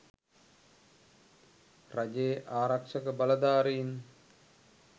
රජයේ ආරක්ෂක බලධාරීන්